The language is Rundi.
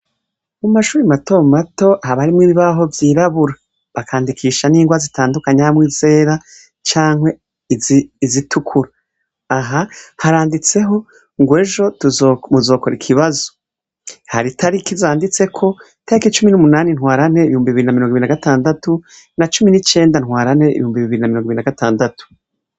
Mu mashuri matomato haba harimwo ibibaho vyirabura bakandikisha n'ingwa zitandukanye harimwo izera canke izitukura, aha haranditseho ngo ejo muzokora ikibazo, hari itariki zanditseko, itariki cumi n'umunani ntwarante ibihumbi bibiri na mirongo ibiri na gatandatu na cumi n'icenda ntwarante ibihumbi bibiri na mirongo ibiri na gatandatu.